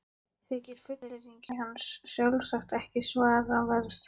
Þykir fullyrðing hans sjálfsagt ekki svaraverð.